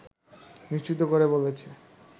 নিশ্চিত করে বলেছে